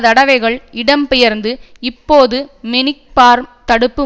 தடவைகள் இடம்பெயர்ந்து இப்போது மெனிக்பார்ம் தடுப்பு